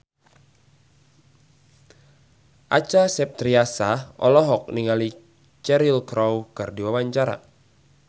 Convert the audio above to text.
Acha Septriasa olohok ningali Cheryl Crow keur diwawancara